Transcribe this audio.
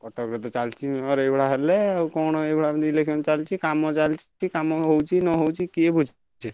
କଟକରେ ତ ଚାଲଚି Mayor ଏଇଭଳିଆ ହେଲେ ଆଉ କଣ ଏଇଭଳିଆ election ଚାଲଚି କାମ ଚାଲଚି କାମ ହଉଛି ନ ହଉଛି କିଏ ବୁଝୁ ଛି।